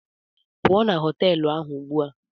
Pụọ na họtelụ a ugbu a!